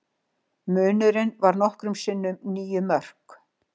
Munurinn varð nokkrum sinnum níu mörk